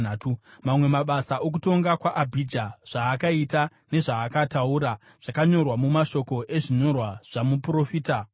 Mamwe mabasa okutonga kwaAbhija, zvaakaita nezvaakataura, zvakanyorwa mumashoko ezvinyorwa zvamuprofita Idho.